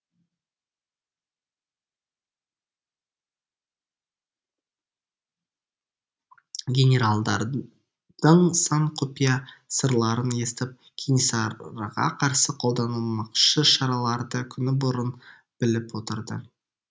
генералдардың сан құпия сырларын естіп кенесарыға қарсы қолданылмақшы шараларды күні бұрын біліп отырды